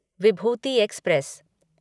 Vibhuti express